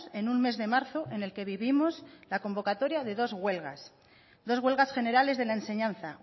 en un mes de marzo en el que vivimos la convocatoria de dos huelgas dos huelgas generales de la enseñanza